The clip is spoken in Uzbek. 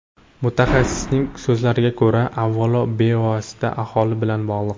Mutaxassisning so‘zlariga ko‘ra, avvalo, bu bevosita aholi bilan bog‘liq.